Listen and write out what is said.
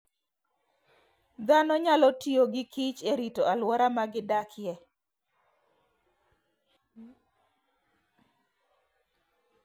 Dhano nyalo tiyo gi kich e rito alwora ma gidakie.